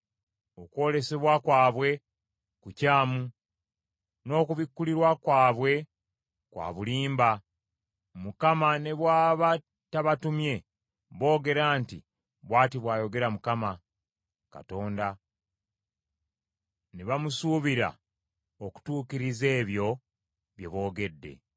Okwolesebwa kwabwe kukyamu, n’okubikkulirwa kwabwe kwa bulimba. Mukama ne bw’aba tabatumye boogera nti, “bw’ati bw’ayogera Mukama Katonda,” ne bamusuubira okutuukiriza ebyo bye boogedde.